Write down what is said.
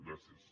gràcies